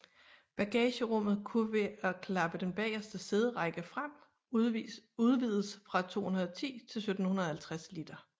Bagagerummet kunne ved at klappe den bageste sæderække frem udvides fra 210 til 1750 liter